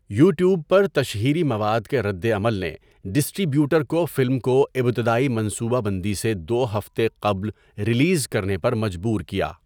YouTube پر تشہیری مواد کے ردعمل نے ڈسٹری بیوٹر کو فلم کو ابتدائی منصوبہ بندی سے دو ہفتے قبل ریلیز کرنے پر مجبور کیا۔